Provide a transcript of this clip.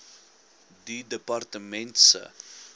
die departement se